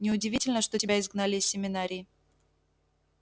неудивительно что тебя изгнали из семинарии